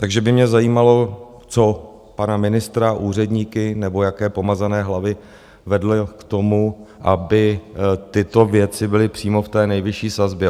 Takže by mě zajímalo, co pana ministra, úředníky nebo jaké pomazané hlavy vedlo k tomu, aby tyto věci byly přímo v té nejvyšší sazbě.